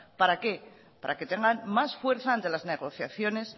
para qué para que tengan más fuerza ante de las negociaciones